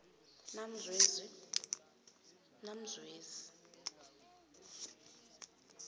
namzwezi